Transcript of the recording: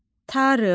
Tarım.